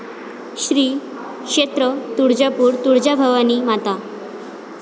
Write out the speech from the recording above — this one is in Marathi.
श्री क्षेत्र तुळजापूर तुळजाभवानी माता